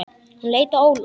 Hann leit á Óla.